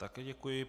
Také děkuji.